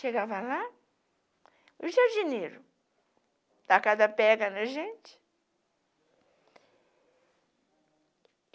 Chegava lá, o jardineiro, tacava pedra na gente.